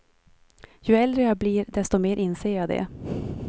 Ju äldre jag blir, desto mer inser jag det.